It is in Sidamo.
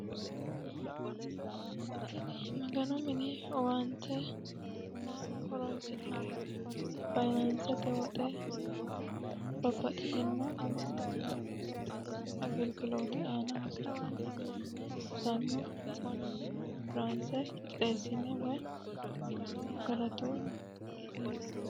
Tini Maganu mini owaante maaho horonsi'nannite kone faayinansete woxe yinuummoro babbaxino basena babbaxitino agiligilote hosiisano mannu konforanse qixxeessine Maganoho galatta.